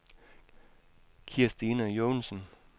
Kirstine Joensen